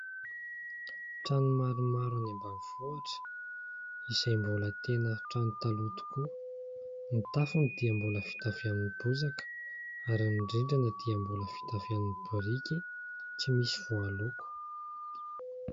Trano maromaro any ambanivohitra, izay mbola tena trano taloha tokoa : ny tafony dia mbola vita avy amin'ny bozaka ary ny rindrina dia mbola avy amin'ny biriky tsy misy voaloko.